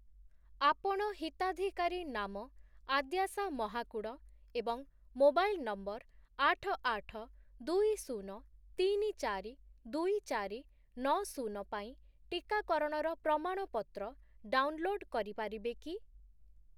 ଆପଣ ହିତାଧିକାରୀ ନାମ ଆଦ୍ୟାଶା ମହାକୁଡ଼ ଏବଂ ମୋବାଇଲ୍ ନମ୍ବର୍ ଆଠ, ଆଠ, ଦୁଇ, ଶୂନ, ତିନି, ଚାରି, ଦୁଇ, ଚାରି, ନଅ, ଶୂନ ପାଇଁ ଟିକାକରଣର ପ୍ରମାଣପତ୍ର ଡାଉନ୍‌ଲୋଡ୍ କରିପାରିବେ କି?